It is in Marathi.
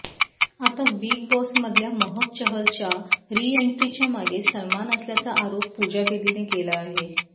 आता बिग बॉसमधल्या महक चहलच्या रिएण्ट्रीच्या मागे सलमान असल्याचा आरोप पूजा बेदीने केला आहे